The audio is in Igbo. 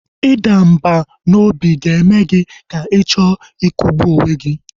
Ịda mbà n'obi ga-eme gị ka ị chọọ ikwụgbu onwe gị